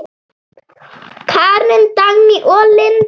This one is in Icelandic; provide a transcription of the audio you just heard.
Karen, Dagný og Linda.